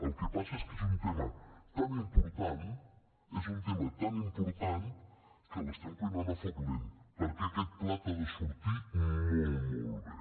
el que passa és que és un tema tan important és un tema tan important que l’estem cuinant a foc lent perquè aquest plat ha de sortir molt molt bé